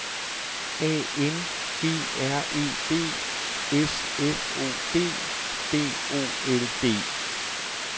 A N G R E B S F O D B O L D